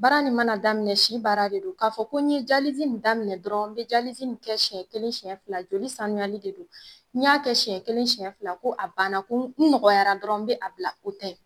Baara nin mana daminɛ si baara de don . Ka fɔ ko n ye nin daminɛ dɔrɔn n be nin kɛ siɲɛ kelen siɲɛ fila joli sanuyali de don . Ni ya kɛ siɲɛ kelen siɲɛ fila ko a banna ko n nɔgɔyara dɔrɔn n be a bila o tɛ.